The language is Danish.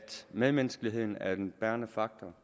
medmenneskeligheden er den bærende faktor